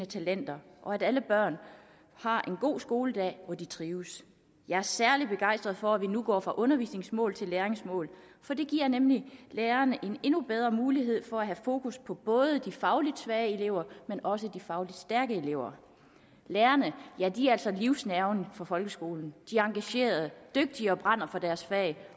talenter og at alle børn har en god skoledag hvor de trives jeg er særlig begejstret for at vi nu går fra undervisningsmål til læringsmål for det giver nemlig lærerne en endnu bedre mulighed for at have fokus på både de fagligt svage elever men også de fagligt stærke elever lærerne er altså livsnerven for folkeskolen de er engagerede dygtige og brænder for deres fag